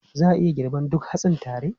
Za a iya girban duk hatsin tare?